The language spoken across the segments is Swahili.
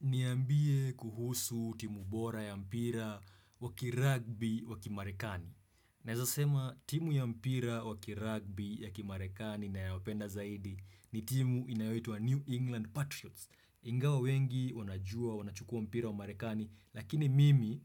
Niambie kuhusu timu bora ya mpira wakiragbi wakimarekani. Naezasema timu ya mpira wakiragbi ya kimarekani nayo penda zaidi ni timu inayoitwa New England Patriots. Ingawa wengi wanajua wanachukua mpira wa marekani lakini mimi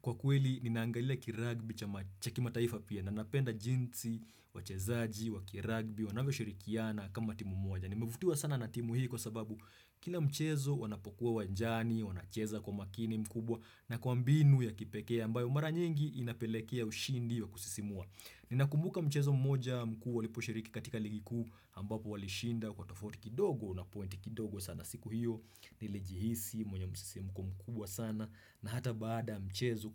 kwa kweli ninaangalia kiragbi cha kimataifa pia. Nanapenda jinsi wachezaji wakiragbi wanavyo shirikiana kama timu moja. Nimevutiwa sana na timu hii kwa sababu kila mchezo wanapokuwa uwanjani, wanacheza kwa makini mkubwa na kwa mbinu ya kipekee ambayo mara nyingi inapelekea ushindi wa kusisimua. Ninakumbuka mchezo mmoja mkuu walipo shiriki katika ligi kuu ambapo walishinda kwa tofauti kidogo na pointi kidogo sana siku hiyo nilijihisi mwenye msisimuko mkubwa sana na hata baada mchezo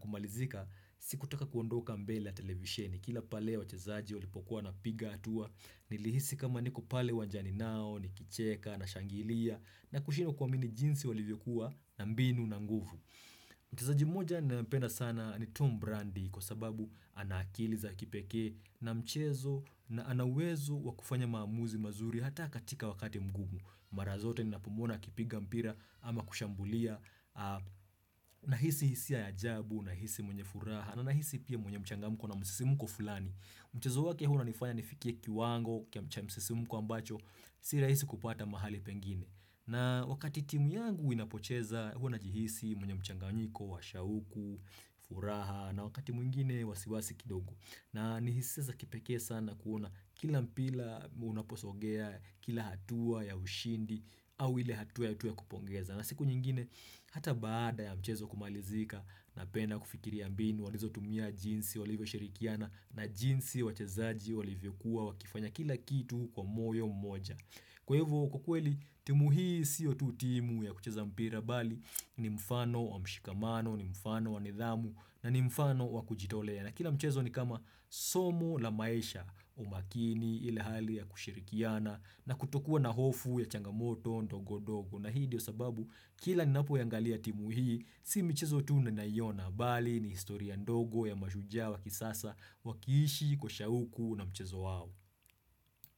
kumalizika siku taka kuondoka mbele ya televisheni. Kila pale wachezaji walipokuwa wanapiga hatua, nilihisi kama niko pale uwanjani nao, nikicheka, nashangilia, na kushino kuamini jinsi walivyokuwa na mbinu na nguvu. Mchezaji mmoja nayempenda sana ni Tom Brandi kwa sababu anaakili za kipekee na mchezo na anauwezo wakufanya maamuzi mazuri hata katika wakati mgumu. Marazote ni napomuona akipiga mpira ama kushambulia Nahisi hisia ya ajabu, nahisi mwenye furaha Nahisi pia mwenye mchangamko na msisimuko fulani Mchazo wake huwa unanifanya nifikie kiwango cha msisimuko ambacho Sirahisi kupata mahali pengine na wakati timu yangu inapocheza huwa najihisi mwenye mchanganyiko wa shauku, furaha na wakati mwingine wasiwasi kidogo na ni hisia za kipekee sana kuona kila mpila unaposogea kila hatua ya ushindi au ile hatua ya utu ya kupongeza. Na siku nyingine hata baada ya mchezo kumalizika na penda kufikiri mbinu walizo tumia jinsi walivyo shirikiana na jinsi wachezaji walivyo kuwa wakifanya kila kitu kwa moyo mmoja. Kwa hivyo kwa kweli timu hii siyo tu timu ya kucheza mpira bali ni mfano wa mshikamano, ni mfano wa nidhamu na ni mfano wa kujitolea. Na kila mchezo ni kama somo la maisha umakini ile hali ya kushirikiana na kutokuwa na hofu ya changamoto ndogo- ndogo. Na hii ndiyo sababu kila ni napo iangalia timu hii, si mchezo tu ninayoona bali ni historia ndogo ya mashajua wakisasa wakiishi kwa shauku na mchezo hao.